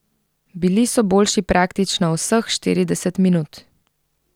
Bili so boljši praktično vseh štirideset minut.